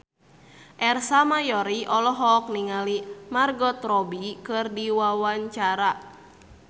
Ersa Mayori olohok ningali Margot Robbie keur diwawancara